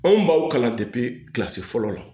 Anw b'aw kalan kilasi fɔlɔ la